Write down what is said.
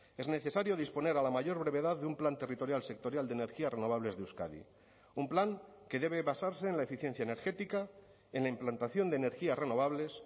es necesario disponer a la mayor brevedad de un plan territorial sectorial de energías renovables de euskadi un plan que debe basarse en la eficiencia energética en la implantación de energías renovables